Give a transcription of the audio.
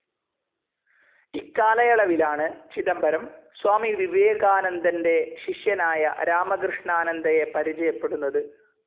ഇക്കാലയളവിലാണ് ചിദംബരം സ്വാമി വിവേകാനന്ദൻ്റെ ശിഷ്യനായ രാമകൃഷ്ണാനന്ദയെ പരിചയപ്പെടുന്നത്.